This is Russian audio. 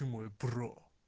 ты мой про